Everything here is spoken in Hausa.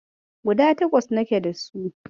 Guda takwas nake dasu.